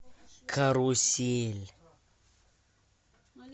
карусель